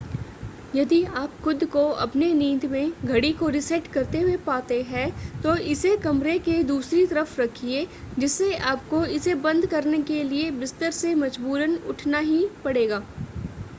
यदि आप खुद को अपनी नींद में घड़ी को रीसेट करते हुए पाते हैं तो इसे कमरे के दूसरी तरफ रखिये जिससे आपको इसे बंद करने के लिए बिस्तर से मजबूरन उठना ही पड़ेगा ।